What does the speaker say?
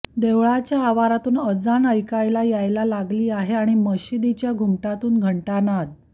देवळाच्या आवारातून अजान ऐकायला यायला लागली आहे आणि मशिदीच्या घुमटातून घंटानाद